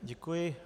Děkuji.